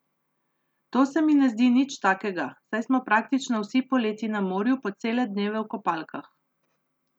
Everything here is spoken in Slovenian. To se mi ne zdi nič takega, saj smo praktično vsi poleti na morju po cele dneve v kopalkah.